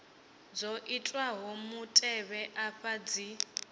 dzo itwaho mutevhe afha dzi